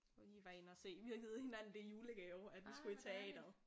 Hvor vi lige var inde og se vi have givet hinanden det i julegave at vi skulle i teateret